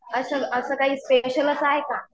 असं असं काही स्पेशल असं आहे का?